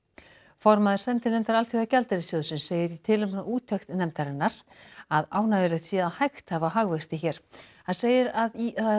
formaður sendinefndar Alþjóðagjaldeyrissjóðsins segir í tilefni af úttekt nefndarinnar að ánægjulegt sé að hægt hafi á hagvexti hér hann segir að